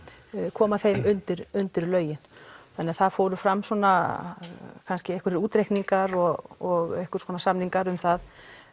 koma þeim undir undir lögin þannig að það fórum fram svona einhverjir útreikningar og samningar um það